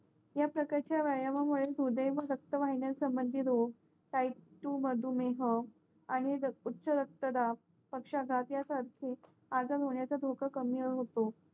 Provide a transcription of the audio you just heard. या प्रकच्या व्यायाम मुळे हृदय व रक्तवाहिन्या संबंधित कायिक तू मद मेह नि उचारक्त दाब पक्षा दात यासरखे आजार होण्याचा धोका कमी होतो